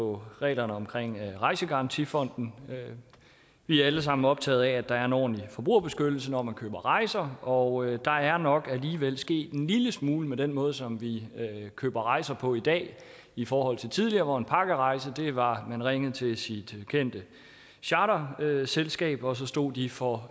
på reglerne omkring rejsegarantifonden vi er alle sammen er optaget af at der er en ordentlig forbrugerbeskyttelse når man køber rejser og der er nok alligevel sket en lille smule med den måde som vi køber rejser på i dag i forhold til tidligere hvor en pakkerejse var at man ringede til sit kendte charterselskab og så stod de for